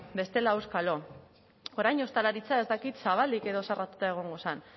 bestela auskalo orain ostalaritza ez dakit zabalik edo zerratuta egongo zen